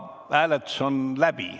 Hääletus on juba läbi.